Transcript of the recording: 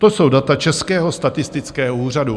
To jsou data Českého statistického úřadu.